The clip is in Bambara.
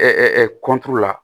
la